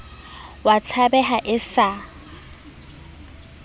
o a tshabeha e sa